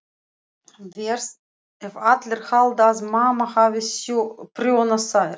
Verst ef allir halda að mamma hafi prjónað þær.